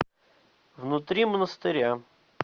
внутри монастыря